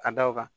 Ka da o kan